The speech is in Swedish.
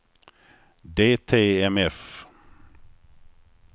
DTMF